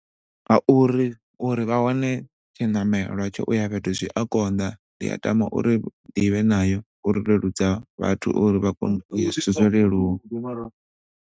Ngauri, uri vha wane tshiṋamelo tsho ya fhethu zwi ya konḓa. Ndi a tama uri ndivhe nayo uri leludza vhathu uri vha kona uya .